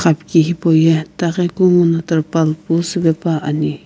apki hipu ye itaghi kungu no terpal siipae pani.